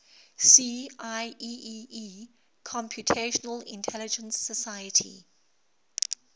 see ieee computational intelligence society